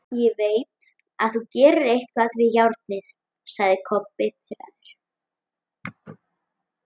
Ég veit þú gerðir eitthvað við járnið, sagði Kobbi pirraður.